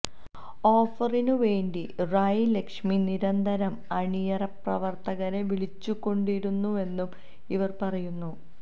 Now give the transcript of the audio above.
ഓഫറിനു വേണ്ടി റായി ലക്ഷ്മി നിരന്തരം അണിയറപ്രവർത്തകരെ വിളിച്ചുകൊണ്ടിരുന്നുവെന്നും ഇവർ പറയുന്നു